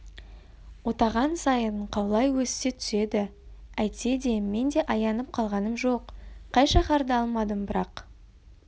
отаған сайын қаулай өсе түседі әйтсе де мен де аянып қалғаным жоқ қай шаһарды алмадым бірақ